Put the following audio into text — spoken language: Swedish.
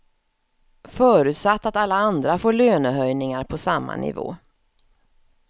Förutsatt att alla andra får lönehöjningar på samma nivå.